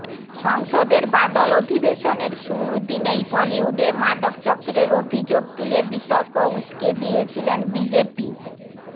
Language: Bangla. সংসদের বাদল অধিবেশনের শুরুর দিনেই বলিউডে মাদক চক্রের অভিযোগ তুলে বিতর্ক উস্কে দিয়েছিলেন বিজেপি